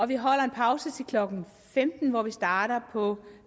vi holder en pause til klokken femten hvor vi starter på